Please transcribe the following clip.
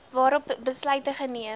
waarop besluite geneem